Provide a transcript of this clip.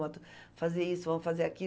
fazer isso, vamos fazer